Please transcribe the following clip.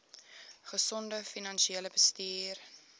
gesonde finansiële bestuur